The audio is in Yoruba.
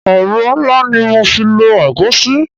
Ẹ̀rọ ńlá ni mo fi lọ egusi.